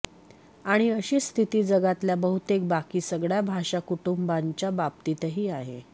आणि अशीच स्थिती जगातल्या बहुतेक बाकी सगळ्या भाषा कुटुंबांच्या बाबतीतही आहे